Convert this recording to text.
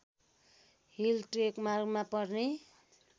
hill ट्रेकमार्गमा पर्ने